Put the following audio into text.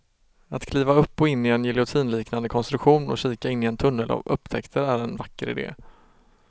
Att kliva upp och in i en giljotinliknande konstruktion och kika in i en tunnel av upptäckter är en vacker idé.